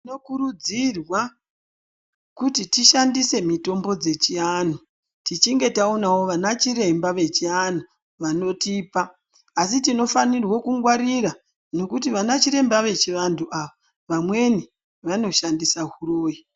Tinokurudzirwa kuti tishandise mitombo dzechianhu tichinge taoonawo ana chiremba vechianhu vanotipa asi tinofanirwa kukungwarira nekuti anaChiremba vechivanhu ava vanoshandisa huroyi